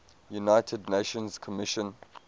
united nations commission